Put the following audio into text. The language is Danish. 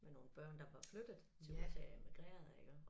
Med nogle børn der var flyttet til USA immigrerede iggå